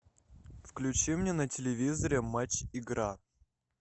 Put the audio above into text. включи мне на телевизоре матч игра